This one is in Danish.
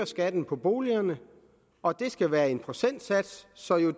skatten på boligerne og det skal være med en procentsats sådan at